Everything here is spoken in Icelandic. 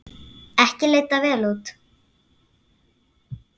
Ekki leit þetta vel út.